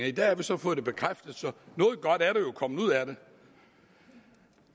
i dag har vi så fået det bekræftet så noget godt er der jo kommet ud af det